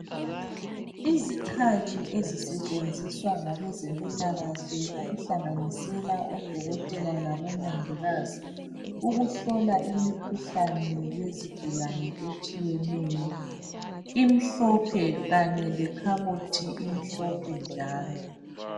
Izikhali ezisetshenziswa ngabe zempilakahle okuhlanganisela odokotela labo mongikazi ukuhlola imikhuhlane yezigulane etshiyeneyo. Imhlophe kanye lekhabothi imhlophe njalo.